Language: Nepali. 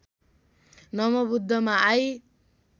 नमोबुद्धमा आई